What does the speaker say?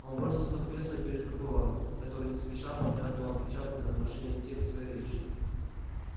он бросился в кресло перед прокурором который не спеша проглядывал отпечатанный на машинке текст своей речи